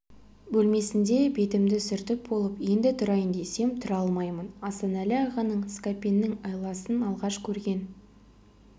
бөлмесінде бетімді сүртіп болып енді тұрайын десем тұра алмаймын асанәлі ағаның скапеннің айласын алғаш көрген